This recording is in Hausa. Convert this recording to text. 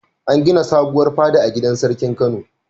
An gina sabuwar fada a gidan sarkin Kano.